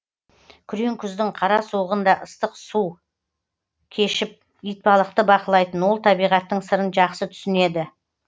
күрең күздің қара суығында суық су кешіп итбалықты бақылайтын ол табиғаттың сырын жақсы түсінеді